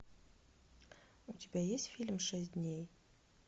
у тебя есть фильм шесть дней